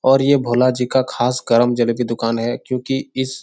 और ये भोला जी का खास गरम जलेबी दूकान है क्योंकि इस --